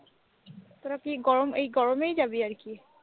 তোরা কি গরম এই গরমেই যাবি আর কি?